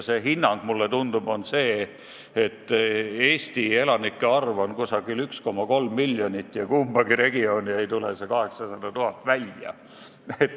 See hinnang on justkui see, et Eesti elanike arv on 1,3 miljonit ja kumbagi regiooni ei tule 800 000 välja.